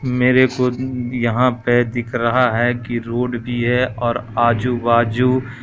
मेरे को यहां पे दिख रहा है कि रोड भी है और आजू बाजू--